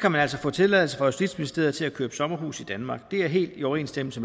kan man altså få tilladelse fra justitsministeriet til at købe sommerhus i danmark og det er helt i overensstemmelse